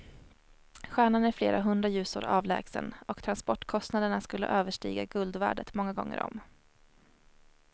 Stjärnan är flera hundra ljusår avlägsen och transportkostnaderna skulle överstiga guldvärdet många gånger om.